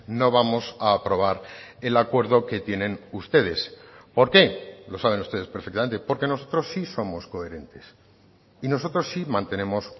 no vamos a aprobar el acuerdo que tienen ustedes por qué lo saben ustedes perfectamente porque nosotros sí somos coherentes y nosotros sí mantenemos